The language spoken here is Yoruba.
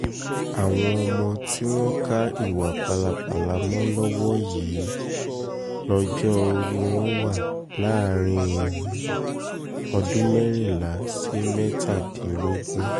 àwọn ọmọ tí wọ́n ka ìwà pálapàla mọ́ lọ́wọ́ yìí lọ́jọ́ um orí wọn wà láàrin um ọdún mẹ́rìnlá sí mẹ́tàdínlógún